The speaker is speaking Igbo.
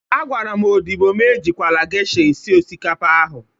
Agwara m odịbo m e jikwala gesha esi osikapa ahụ.